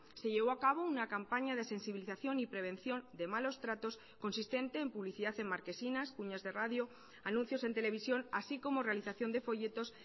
se llevó a cabo una campaña de sensibilización y prevención de malos tratos consistente en publicidad en marquesinas cuñas de radio anuncios en televisión así como realización de folletos